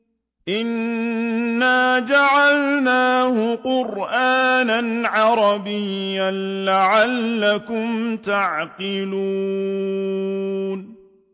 إِنَّا جَعَلْنَاهُ قُرْآنًا عَرَبِيًّا لَّعَلَّكُمْ تَعْقِلُونَ